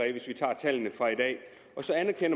det hvis vi tager tallene fra i dag